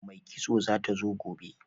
Mai kitso zata zo gobe